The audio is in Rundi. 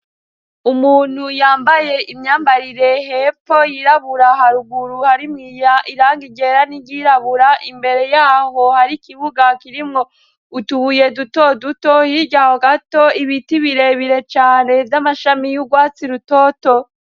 Umuntu yambaye imyambarire hepfo yirabura haruguru hari mw irangi ryera n'iryirabura imbere y'aho hari ikibuga kirimwo utubuye duto duto hirya ho gato ibiti birebire cane vy'amashami y'urwatsi rutoto.